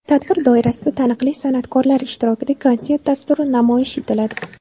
Tadbir doirasida taniqli san’atkorlar ishtirokida konsert dasturi namoyish etiladi.